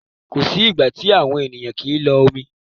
Kò sí ìgbà tí àwọn ènìyàn kì lo omi.